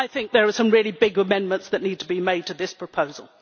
I think there are some really big amendments that need to be made to this proposal.